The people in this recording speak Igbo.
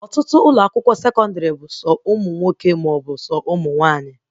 Ọtụtụ ụlọ akwụkwọ sekọndrị bụ sọ ụmụ nwoke maọbụ ụmụ nwaanyị